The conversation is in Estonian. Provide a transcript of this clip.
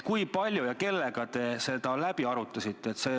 Kui palju ja kellega te seda läbi arutasite?